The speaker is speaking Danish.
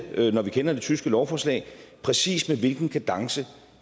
det når vi kender det tyske lovforslag præcis med hvilken kadence